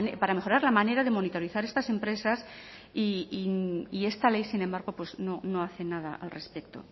para mejorar la manera de monitorizar estas empresas y esta ley sin embargo no hace nada al respecto